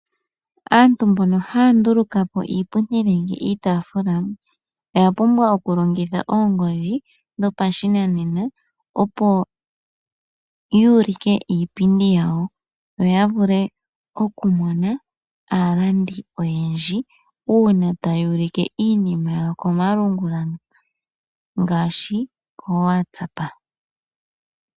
Aantu mbono haya nduluka po iipundi nenge iitaafula oya pumbwa okulongitha oongodhi dho pashinanena opo yuulike iipindi yayo yo ya vule okumona aalandi oyendji uuna taya ulike iinima yawo komalungula ngaashi oWhatsApp.